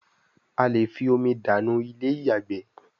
a lẹ fí omi dànù Ilé-ìyàgbé